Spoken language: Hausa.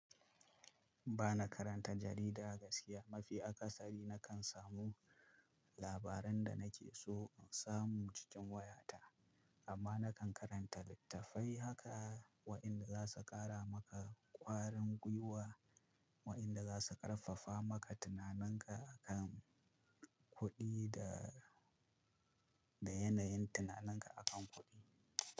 Ba na karanta jarida gaskiya. Mafi akasari na kan samu labaran da na ke so in samu cikin waya ta. Amma na kan karanta littafai haka wa'inda za su ƙara maka ƙwarin gwiwa, wa'inda za su ƙarfafa maka tunaninka akan kuɗi da, da yanayin tunaninka akan kuɗi.